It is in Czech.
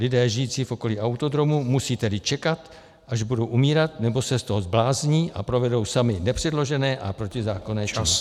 Lidé žijící v okolí autodromu musí tedy čekat, až budou umírat, nebo se z toho zblázní a provedou sami nepředložené a protizákonné činy.